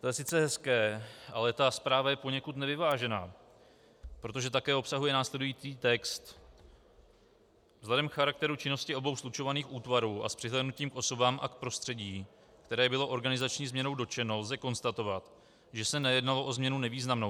To je sice hezké, ale ta zpráva je poněkud nevyvážená, protože také obsahuje následující text: Vzhledem k charakteru činnosti obou slučovaných útvarů a s přihlédnutím k osobám a k prostředí, které bylo organizační změnou dotčeno, lze konstatovat, že se nejednalo o změnu nevýznamnou.